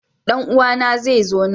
Dan uwana zai zo nan.